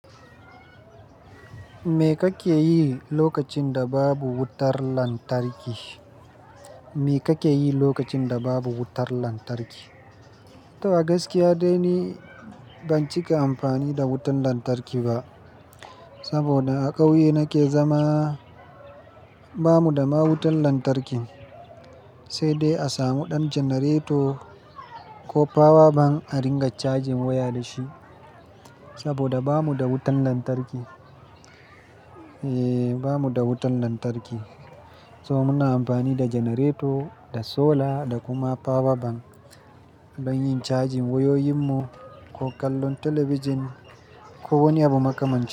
Me kake yi lokacin da babu wutar lantarki? Me kake yi lokacin da babu wutar lantarki? To a gaskiya dai ni ban cika amfani da wutar lantarki ba. Saboda a ƙauye nake zama, bamu da ma wutan lantarki, sai dai a samu ɗan janareto ko power bank a ringa cajin waya da shi. Saboda bamu da wutan lantarki, eh, bamu da wutan lantarki. So muna amfani da janareto, da sola, da kuma power bank don yin cajin wayoyinmu ko kallon talabijin ko wani abu makamancin.